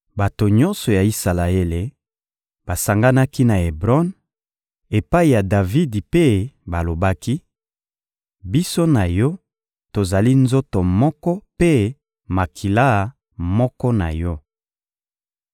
Bato nyonso ya Isalaele basanganaki na Ebron, epai ya Davidi mpe balobaki: «Biso na yo, tozali nzoto moko mpe makila moko na yo.